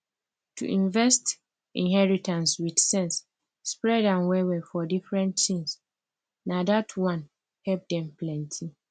to invest inheritance with sense spread am well well for different things na dat one help dem plenty